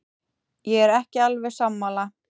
Ég er ekki alveg sammála.